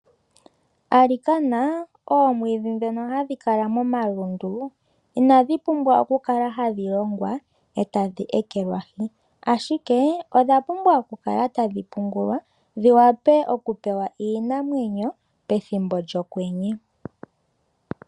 Alikana, oomwiidhi ndhono hadhi lala momalundu, inadhi pumbwa okukala hadhi longwa e tadhi ekelwahi. Ashike odha pumbwa okukala tadhi pungulwa dhi wape okupewa iinamwenyo pethimbo lyOkwenye.